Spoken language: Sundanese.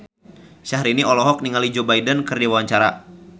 Syahrini olohok ningali Joe Biden keur diwawancara